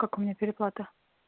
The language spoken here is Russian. как у меня переплата